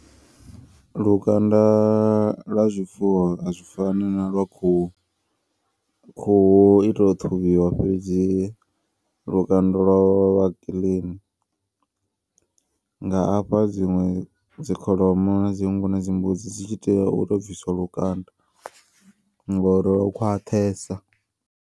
Lukanda lwa zwifuwo azwi fani na lwa khuhu. Khuhu ito ṱhuvhiwa fhedzi lukanda lwavho lwa vha kiḽini. Nga afha dziṅwe dzi kholomo na dzi nngu na dzi mbudzi dzi tshi tea uto bvisiwa lukanda ngori lwo khwaṱhesa.